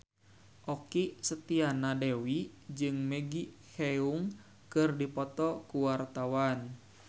Okky Setiana Dewi jeung Maggie Cheung keur dipoto ku wartawan